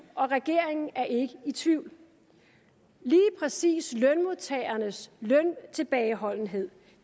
og regeringen er ikke i tvivl lige præcis lønmodtagernes løntilbageholdenhed